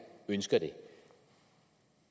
ønsker det